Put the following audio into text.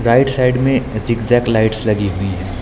Right side में zigzag lights लगी हुई हैं।